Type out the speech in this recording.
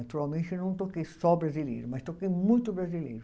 Naturalmente eu não toquei só brasileiro, mas toquei muito brasileiro.